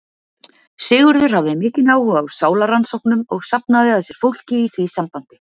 Sigurður hafði mikinn áhuga á sálarrannsóknum og safnaði að sér fólki í því sambandi.